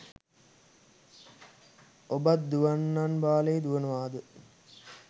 ඔබත් දුවන්නන් වාලේ දුවනවාද